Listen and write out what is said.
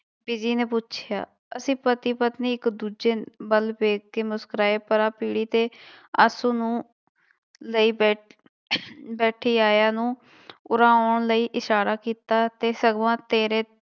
ਬੀਜੀ ਨੇ ਪੁੱਛਿਆ, ਅਸੀਂ ਪਤੀ ਪਤਨੀ ਇੱਕ ਦੂਜੇ ਵੱਲ ਵੇਖ ਕੇ ਮੁਸਕਰਾਏ ਪਰਾਂ ਪੀੜੀ ਤੇ ਆਸੂ ਨੂੰ ਲਈ ਬੈ ਬੈਠੀ ਆਇਆ ਨੂੰ ਉਰਾਂ ਆਉਣ ਲਈ ਇਸ਼ਾਰਾ ਕੀਤਾ ਤੇ ਸਗੋਂ ਤੇਰੇ